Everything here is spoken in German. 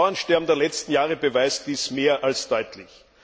Das Bauernsterben der letzten Jahre beweist dies mehr als deutlich.